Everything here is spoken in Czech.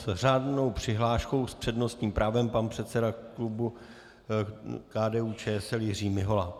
S řádnou přihláškou s přednostním právem pan předseda klubu KDU-ČSL Jiří Mihola.